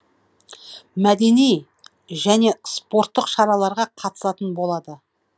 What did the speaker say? мәдени және спорттық шараларға қатысатын болады